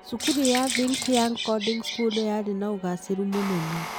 Cukuru ya Think Young Coding School yarĩ na ũgaacĩru mũnene.